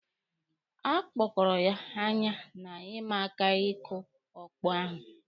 A kụpkọrọ ya anya na ịma aka ịkụ ọkpọ ahụ.